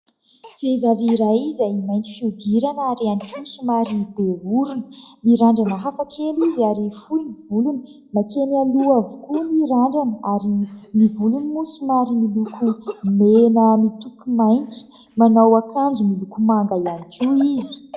Vehivavy iray izay mainty fihodirana ary ihany koa somary be orona, mirandrana hafa kely izy ary fohy ny volony, mankeny aloha avokoa ny randrana ary ny volony moa somary miloko mena mitopy mainty, manao akanjo miloko manga ihany koa izy.